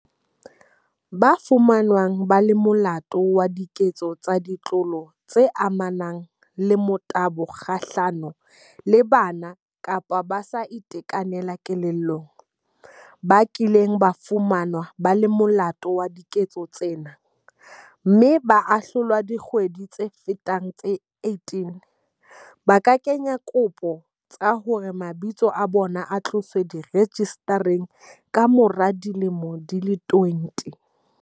Ba fumanweng ba le molato wa diketso tsa ditlolo tse amanang le motabo kga hlano le bana kapa ba sa itekanelang kelellong, ba kileng ba fumanwa ba le molato wa diketso tsena, mme ba ahlolwa dikgwedi tse fetang tse 18 ba ka kenya dikopo tsa hore mabitso a bona a tloswe rejistareng kamora dilemo tse 20.